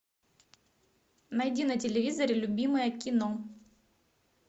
найди на телевизоре любимое кино